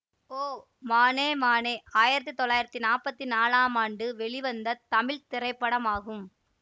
ஓ மானே மானே ஆயிரத்தி தொள்ளாயிரத்தி நாப்பத்தி நாலாம் ஆண்டு வெளிவந்த தமிழ் திரைப்படமாகும்